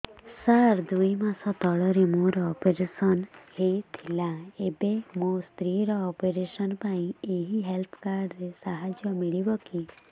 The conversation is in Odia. ସାର ଦୁଇ ମାସ ତଳରେ ମୋର ଅପେରସନ ହୈ ଥିଲା ଏବେ ମୋ ସ୍ତ୍ରୀ ର ଅପେରସନ ପାଇଁ ଏହି ହେଲ୍ଥ କାର୍ଡ ର ସାହାଯ୍ୟ ମିଳିବ କି